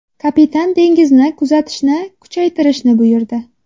Kapitan dengizni kuzatishni kuchaytirishni buyurdi.